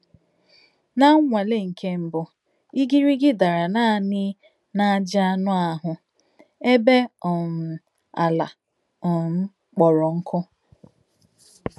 Ná nnwàlè nké mbụ́, ìgìrìgì dàrà nánị̀ n’ájí ànù àhụ̀, èbè um àlà um kpọ̀rò nkụ́.